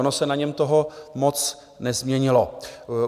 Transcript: Ono se na něm toho moc nezměnilo.